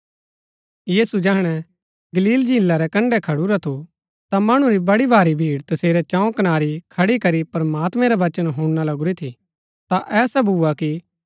यीशु जैहणै गलील झीला रै कण्ड़ै खडुरा थू ता मणु री बड़ी भारी भीड़ तसेरै चौं कनारी खडी करी प्रमात्मैं रा बचन हुणना लगुरी थी ता ऐसा भुआ कि